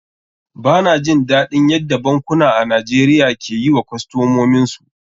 Ba na jin daɗin yadda bankuna a Najeriya ke yi wa kostomin su.